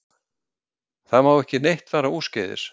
Það má ekki neitt fara úrskeiðis